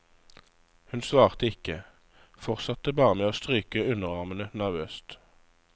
Hun svarte ikke, fortsatte bare med å stryke underarmene nervøst.